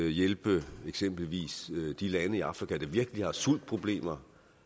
hjælpe eksempelvis de lande i afrika der virkelig har sultproblemer